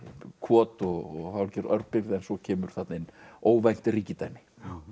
kot og hálfgerð örbirgð en svo kemur þarna inn óvænt ríkidæmi